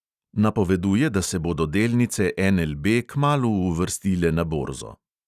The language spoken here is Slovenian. Napoveduje, da se bodo delnice NLB kmalu uvrstile na borzo.